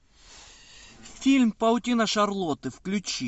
фильм паутина шарлотты включи